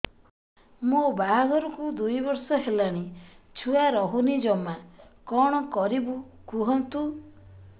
ମୋ ବାହାଘରକୁ ଦୁଇ ବର୍ଷ ହେଲାଣି ଛୁଆ ରହୁନି ଜମା କଣ କରିବୁ କୁହନ୍ତୁ